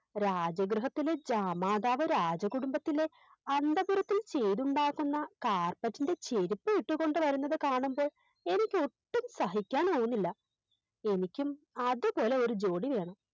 രാജ ഗൃഹത്തിലെ ജാമാതാവ് രാജകുടുംബത്തിലെ അന്തഃപുരത്തിന് കേടുണ്ടാക്കുന്ന Carpet ൻറെ ചെരുപ്പ് ഇട്ടുകൊണ്ടുവരുന്നത് കാണുമ്പോൾ എനിക്ക് ഒട്ടും സഹിക്കാൻ ആവുന്നില്ല എനിക്കും അതുപോലെയൊരു ജോഡി വേണം